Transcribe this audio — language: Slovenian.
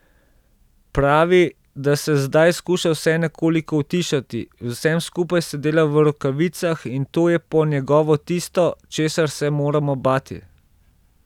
Pravi, da se zdaj skuša vse nekako utišati, z vsem skupaj se dela v rokavicah in to je po njegovo tisto, česar se moramo bati.